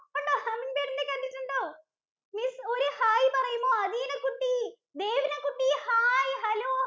Humming bird നെ കണ്ടവരുണ്ടോ miss ഒരു hair പറയുമോ അഥീന കുട്ടി, ദേവന കുട്ടി ഹായ്, hello